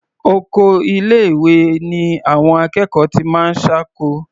Oko ilé-ìwé ni àwọn akẹ́kọ̀ọ́ ti máa ń ṣáko.